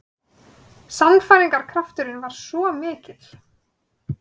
Sannfæringarkrafturinn var svo mikill.